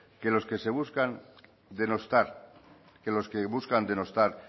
que los que se buscan denostar que los que buscan denostar